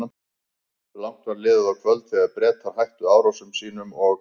Langt var liðið á kvöld, þegar Bretar hættu árásum sínum og